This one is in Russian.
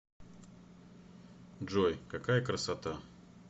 джой какая красота